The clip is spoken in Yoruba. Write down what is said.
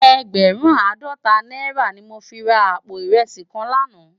Ègbèrùn àádòtá nàirá ni mó fi rá àpó irèsí kán làná